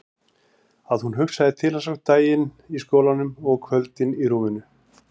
Að hún hugsaði til hans á daginn í skólanum og á kvöldin í rúminu.